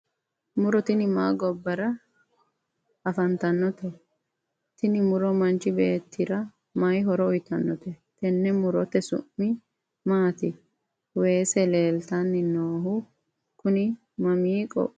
muro tini ma gobbara afantanote? tini muro manchi beettira mayi horo uyiitanno? tenne murote su'mi maati? weese leeltanni noohu kuni mami qoqqowooti?